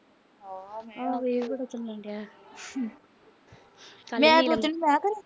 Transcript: ਹਾ